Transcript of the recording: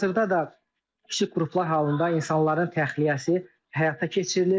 Hazırda da kiçik qruplar halında insanların təxliyəsi həyata keçirilir.